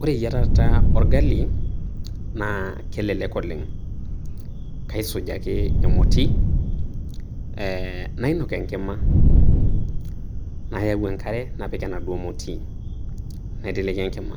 Ore eyiata orgali naa kelelek oleng kaisuj ake emoti ee nainok enkima nayau enkare napik enaduo moti naiteleki enkima